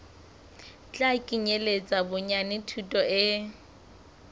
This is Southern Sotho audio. tla kenyeletsa bonyane thuto e